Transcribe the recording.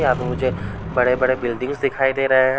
यां पे मुझे बड़े-बड़े बिल्डिंग्स दिखाई दे रहें हैं।